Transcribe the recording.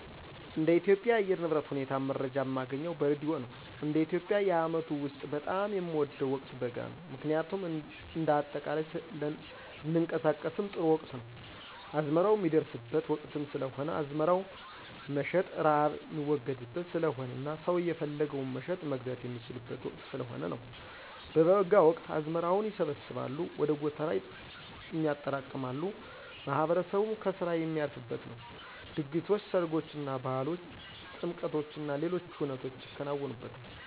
እንደ ኢትዮጵያ የአየር ንብረት ሁኔታ መረጃ ማገኘው በሬድዮ ነው፣ እንደ ኢትዮጵያ የአመቱ ውስጥ በጣም የምወደው ወቅት በጋ ነው ምክንያቱም እንደ አጠቃላይ ለንቀሳቀስም ጥሩ ወቅት ነው፣ አዝመራው ሚደርስበት ወቅትም ስለሆነ አዝመራም መሸጥ፣ ርሃብ ሚወገድበት ስለሆነና ሰው የፈለገውን መሸጥ፣ መግዛት የሚችልበት ወቅት ስለሆነ ነው። በበጋ ወቅት አዝመራዎች ይሰበሰባሉ ወደ ጎተራም ይጠራቀማሉ፣ ማህበረሰቡም ከስራ ሚያርፍበት ነው፣ ድግሶች፣ ሰርጎችና፣ ባህሎች፣ ጥምቀቶችና ሌሎች ሁነቶች ይከናወኑበታል።